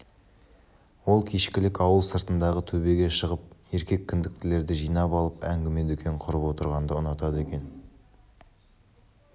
ол кешкілік ауыл сыртындағы төбеге шығып еркек кіндіктілерді жинап алып әңгіме-дүкен құрып отырғанды ұнатады екен